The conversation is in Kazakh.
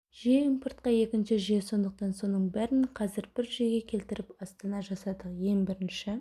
жүйе импортқа екінші жүйе сондықтан соның бәрін қазір бір жүйеге келтіріп астана жасадық ең бірінші